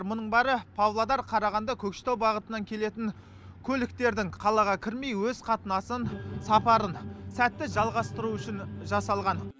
мұның бәрі павлодар қарағанды көкшетеу бағытынан келетін көліктердің қалаға кірмей өз қатынасын сапарын сәтті жалғастыруы үшін жасалған